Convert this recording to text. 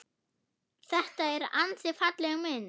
Þetta er ansi falleg mynd.